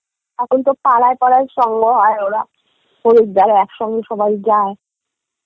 এখন তো পাড়ায় পাড়ায় সঙ্গ হয় ওরা হরিদ্বার একসঙ্গে সবাই যায়